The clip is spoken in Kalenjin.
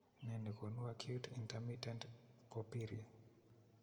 Nee ne koonu acute intermittent porphyria ?